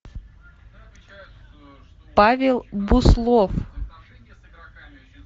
павел буслов